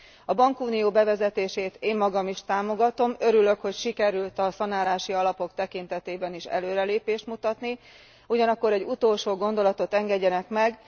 A bankunió bevezetését én magam is támogatom, örülök, hogy sikerült a szanálási alapok tekintetében is előrelépést mutatni, ugyanakkor egy utolsó gondolatot engedjenek meg.